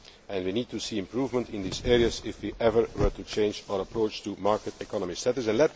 We would need to see improvement in these areas if we were ever to change our approach to market economy